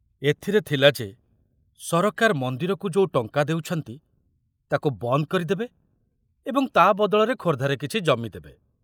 ଏଥିରେ ଥିଲା ଯେ ସରକାର ମନ୍ଦିରକୁ ଯୋଉ ଟଙ୍କା ଦେଉଛନ୍ତି, ତାକୁ ବନ୍ଦ କରିଦେବେ ଏବଂ ତା ବଦଳରେ ଖୋର୍ଦ୍ଧାରେ କିଛି ଜମି ଦେବେ।